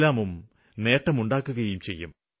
ഇസ്ലാം സമൂഹത്തിന് നേട്ടമുണ്ടാക്കുകയും ചെയ്യും